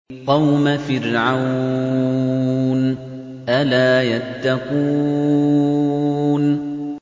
قَوْمَ فِرْعَوْنَ ۚ أَلَا يَتَّقُونَ